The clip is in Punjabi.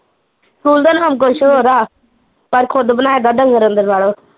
ਸਕੂਲ ਦਾ ਨਾਮ ਕੁਸ਼ ਹੋਰ ਆ ਪਰ ਖੁਦ ਬਣਾਇਆ ਦਾ ਡੰਗਰ ਅੰਦਰ ਵਾੜੋ